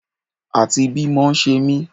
Àti bí mọ ṣe mí